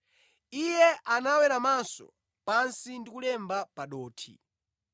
Iye anaweramanso pansi ndi kulemba pa dothi.